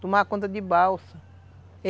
Tomava conta de balsa.